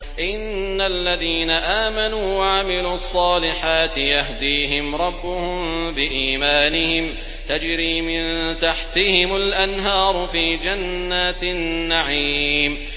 إِنَّ الَّذِينَ آمَنُوا وَعَمِلُوا الصَّالِحَاتِ يَهْدِيهِمْ رَبُّهُم بِإِيمَانِهِمْ ۖ تَجْرِي مِن تَحْتِهِمُ الْأَنْهَارُ فِي جَنَّاتِ النَّعِيمِ